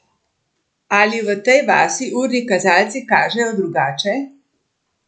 Ali v tej vasi urni kazalci kažejo drugače?